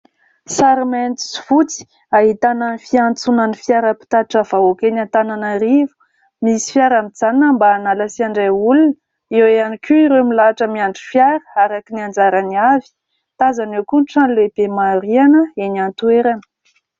Sary mainty sy fotsy ahitana ny fiantsonan'ny fiara mpitatitra vahoaka eny Antananarivo. Misy fiara mijanona mba hanala sy handray olona ; eo ihany koa ireo milahatra miandry fiara araka ny anjarany avy, tazana eo ihany koa trano lehibe maro rihana eny an-toerana.